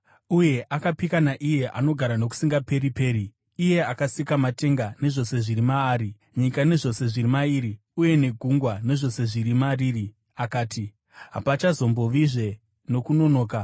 Uye akapika naiye anogara nokusingaperi-peri, iye akasika matenga nezvose zviri maari, nyika nezvose zviri mairi, uye negungwa nezvose zviri mariri, akati, “Hapachazombovizve nokunonoka!